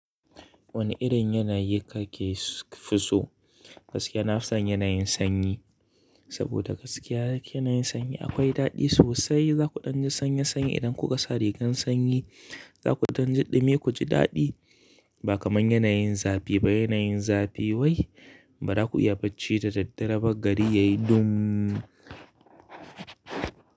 Wani irin yanayi kake fi so? Gaskiya na fison yanayin sanyi, saboda gaskiya yanayin sanyi akwai daɗi sosai. Za ku ɗanji sanyi sanyi idan kuka sa rigar sanyi, za ku ɗanji ɗumi ku ji daɗi ba kamar yanayin zafi ba. Yanayin zafi wai ba za ku iya bacci da daddare ba, gari yayi ɗummm.